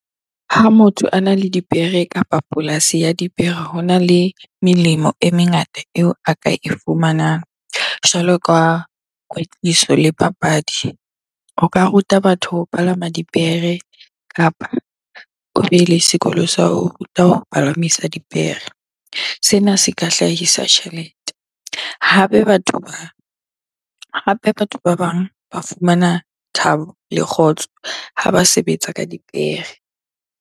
Ha motho ana le dipere kapa polasi ya dipere, hona le melemo e mengata eo a ka e fumanang jwalo ka kwetliso le papadi. O ka ruta batho ho palama dipere kapa o be le sekolo sa ho ruta ho palamisa dipere. Sena se ka hlahisa tjhelete hape batho ba, hape batho ba bang ba fumana thabo le kgotso ha ba sebetsa ka dipere.